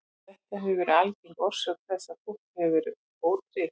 Þetta hefur verið algeng orsök þess að fólk hefur verið ótryggt.